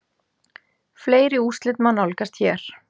Fleiri úrslit má nálgast hér